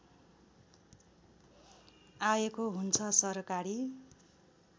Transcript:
आएको हुन्छ सरकारी